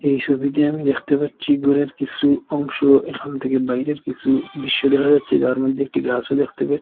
এই ছবিতে আমি দেখতে পাচ্ছি ঘরের কিছু অংশ এখান থেকে বাইরের কিছু দৃশ্য দেখা যাচ্ছে যার মধ্যে একটি গাছও দেখতে পায়।